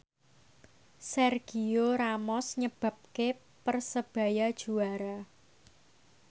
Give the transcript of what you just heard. Sergio Ramos nyebabke Persebaya juara